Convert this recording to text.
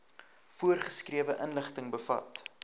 voorgeskrewe inligting bevat